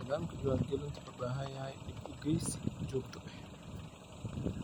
Nidaamka diiwaangelintu wuxuu u baahan yahay dib-u-eegis joogto ah.